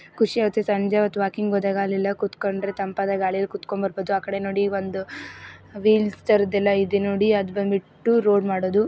ಖುಷಿಯಾಗ್ತದೆ ಸಂಜೆ ಹೊತ್ತು ವಾಕಿಂಗ್ ಹೋದಾಗ ಅಲ್ಲೆಲ್ಲ ಕುತ್ಕೊಂಡ್ರೆ ತಂಪಾದ ಗಾಳಿ ಅಲ್ಲಿ ಕುತ್ಕೊಂಡು ಬರಬಹುದು ಆ ಕಡೆ ನೋಡಿ ಒಂದು ವಿಲ್ ತರದ್ದು ಇದೆ ಅದು ಬಂದ್ಬಿಟ್ಟು ರೋಡ್ ಮಾಡೋದು--